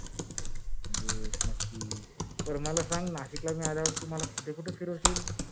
yes नक्कीच, बर मला संग तू मला नाशिक ला आल्यावर कुठे कुठे फिरवशील?